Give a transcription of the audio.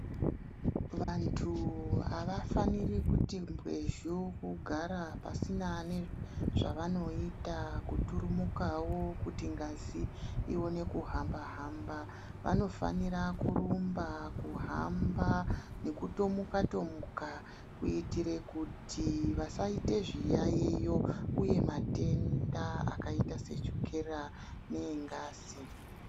Vantu avafaniri kuti mbwezhu kugara pasina nezvavanoita kuturumukawo kuti ngazi ione kuhamba hamba vanofanira kurumba, kuhamba nekutomuka tomuka kuitire kuti vasaite zviyayiyo uye matenda akaita sechukera neengazi.